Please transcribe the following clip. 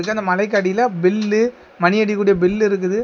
இந்த மலைக்கு அடியில பெல்லு மணி அடிக்கக்கூடிய பெல்லு இருக்குது.